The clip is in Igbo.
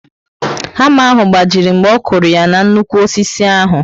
Hama ahụ gbajiri mgbe ọkụrụ ya na nnukwu osisi ahụ